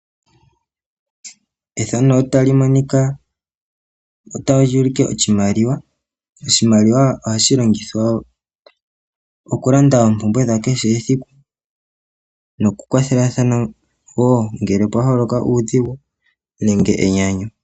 Oshimaliwa ohashi longithwa okulanda oompumbwe dha kehe esiku. Noku kwathelatha uuna pwaholoka uudhigu nenge enyanyu.